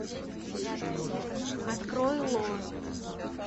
открой ло